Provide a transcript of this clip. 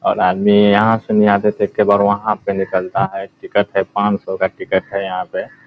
और आदमी यहाँ से नहीं आते पर वहाँ पर निकलता है टिकट है पाँच सौ का टिकट है यहाँ पे ।